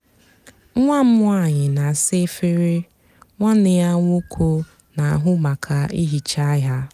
nwá m nwányị nà-àsa efere nwánné yá nwóké nà-àhụ mákà íhíchá hà.